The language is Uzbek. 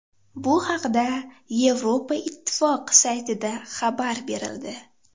Bu haqda Yevropa Ittifoqi saytida xabar berildi .